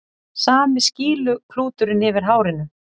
Sami skýluklúturinn yfir hárinu.